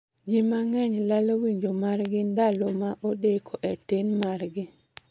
Ji mang'eny lalo winjo mar gi ndalo ma odeko e tin mar gi